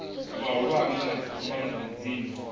mahulwane kana dziphambano dza miḓini